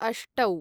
अष्टौ